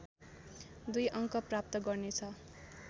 २ अङ्क प्राप्त गर्नेछ